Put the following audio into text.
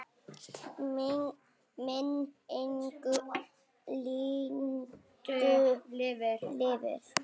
Minning Lindu lifir.